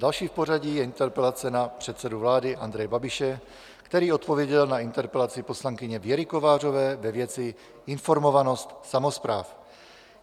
Další v pořadí je interpelace na předsedu vlády Andreje Babiše, který odpověděl na interpelaci poslankyně Věry Kovářové ve věci informovanost samospráv.